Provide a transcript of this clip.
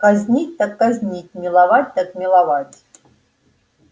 казнить так казнить миловать так миловать